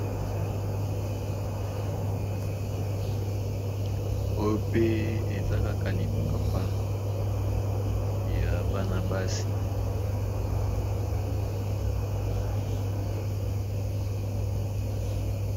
Oyope eza kaka lipapa ya bana basi nde namoni liboso nanga awa